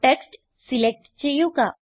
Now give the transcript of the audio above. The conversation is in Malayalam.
ടെക്സ്റ്റ് സിലക്റ്റ് ചെയ്യുക